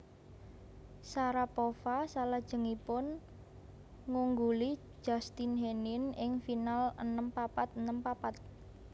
Sharapova salajengipun ngungguli Justine Henin ing final enem papat enem papat